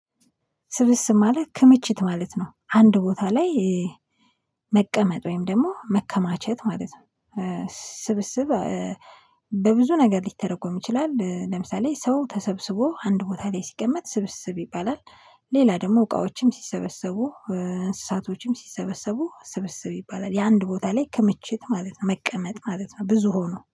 ስብስብ ማለት ክምችት ማለት ነው አንድ ቦታ ላይ መቀመጥ ወይም ደግሞ መከማቸት ማለት ነው። ስብስብ በብዙ ነገር ሊተረጎም ይችላል። ለምሳሌ ሰው ተሰብስቦ አንድ ቦታ ላይ ሲቀመጥ ስብስብ ይባላል። ሌላ ደግሞ እቃዎችም ሲሰበሰቡ እንስሳቶችም ሲሰበሰቡ ስብስብ ይባላል። የአንድ ቦታ ላይ ከምችት ማለት ነው መቀመጥ ማለት ነው። ብዙ ሆኖ